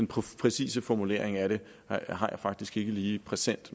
præcise formulering af det har jeg faktisk ikke lige præsent